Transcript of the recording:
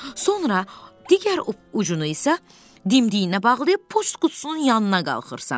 Sonra digər ucunu isə dimdiyinə bağlayıb poçt qutusunun yanına qalxırsan.